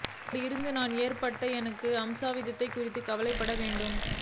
அப்படியிருக்கும் நான் ஏன் எனக்கு ஏற்படும் அசம்பாவிதம் குறித்து கவலைப்பட வேண்டும்